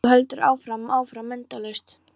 Þú heldur áfram og áfram, endalaust.